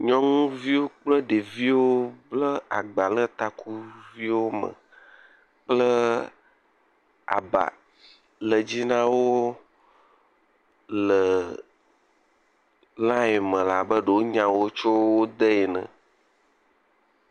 nyɔŋuviwo kple ɖeviwo le agba le ta le takuviwo me kple aba le dzi nawo le line me labe ɖewo nyawo tso wóde ene